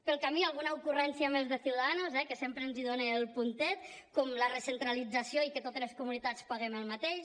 pel camí alguna ocurrència més de ciudadanos eh que sempre ens donen el puntet com la recentralització i que totes les comunitats paguem el mateix